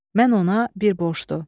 Mən ona bir borcluydu.